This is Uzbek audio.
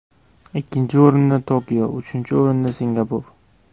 Ikkinchi o‘rinda Tokio, uchinchi o‘rinda Singapur.